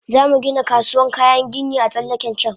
Zamu Gina kasuwan kayan gini a tsallaken can